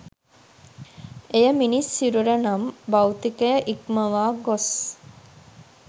එය මිනිස් සිරුර නම් භෞතිකය ඉක්මවා ගොස්